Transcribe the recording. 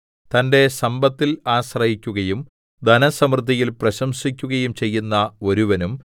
തന്റെ സമ്പത്തിൽ ആശ്രയിക്കുകയും ധനസമൃദ്ധിയിൽ പ്രശംസിക്കുകയും ചെയ്യുന്ന ഒരുവനും തന്റെ